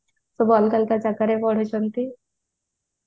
ସବୁ ଅଲଗା ଅଲଗା ଜାଗାରେ ପଢୁଛନ୍ତି